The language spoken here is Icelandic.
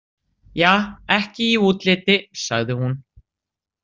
Ja, ekki í útliti, sagði hún.